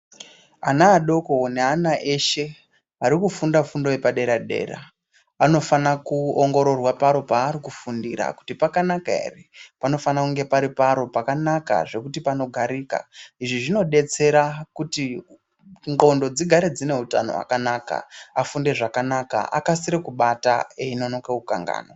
Ana adoko neana eshe arikufunda fundo yepadera-dera anofana kuongororwa paro paari kufundira kuti pakanaka ere panofana kunge pari paro pakanaka zvekuti panogarika. Izvi zvinodetsera kuti ndxondo dzigare dzine utano wakanaka afunde zvakanaka akasire kubata einonoka kukanganwa.